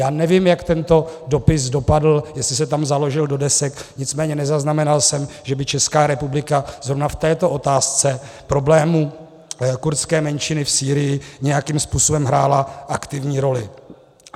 Já nevím, jak tento dopis dopadl, jestli se tam založil do desek, nicméně nezaznamenal jsem, že by Česká republika zrovna v této otázce problému kurdské menšiny v Sýrii nějakým způsobem hrála aktivní roli.